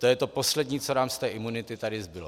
To je to poslední, co nám z té imunity tady zbylo.